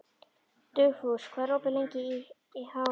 Dugfús, hvað er opið lengi í HÍ?